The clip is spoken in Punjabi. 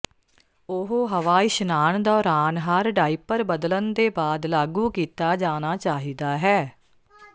ਉਹ ਹਵਾ ਇਸ਼ਨਾਨ ਦੌਰਾਨ ਹਰ ਡਾਇਪਰ ਬਦਲਣ ਦੇ ਬਾਅਦ ਲਾਗੂ ਕੀਤਾ ਜਾਣਾ ਚਾਹੀਦਾ ਹੈ